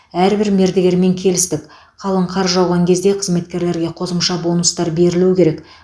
әрбір мердігермен келістік қалың қар жауған кезде қызметкерлерге қосымша бонустар берілу керек